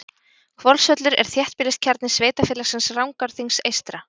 Hvolsvöllur er þéttbýliskjarni sveitarfélagsins Rangárþings eystra.